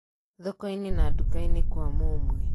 thokoini na dukaini kwa mũmwe.